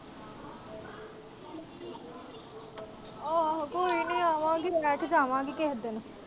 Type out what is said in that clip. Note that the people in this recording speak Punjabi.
ਆਹੋ-ਆਹੋ ਕੋਈ ਨੀ ਆਵਾਂਗੀ ਰਹਿ ਕੇ ਜਾਵਾਂਗੀ ਕਿਹੇ ਦਿਨ।